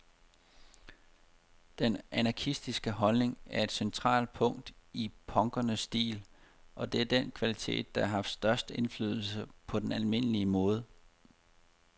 Den anarkistiske holdning er et centralt punkt i punkernes stil, og det er den kvalitet, der har haft størst indflydelse på den almindelige mode.